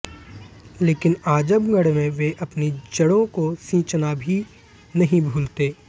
लेकिन आजमगढ़ में वे अपनी जड़ों को सींचना भी नहीं भूलते